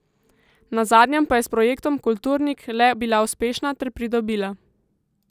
Na zadnjem pa je s projektom Kulturnik le bila uspešna ter pridobila ...